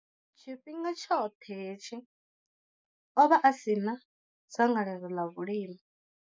Tshifhinga tshoṱhe hetshi, o vha a si na dzangalelo ḽa vhulimi.